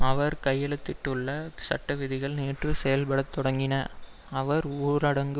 அவர் கையெழுத்திட்டுள்ள சட்டவிதிகள் நேற்று செயல்பட தொடங்கின அவர் ஊரடங்கு